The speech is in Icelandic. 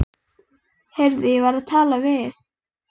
Heyrðu, ég var að tala við